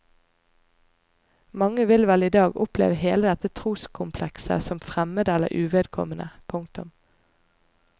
Mange vil vel i dag oppleve hele dette troskomplekset som fremmed eller uvedkommende. punktum